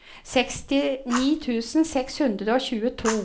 sekstini tusen seks hundre og tjueto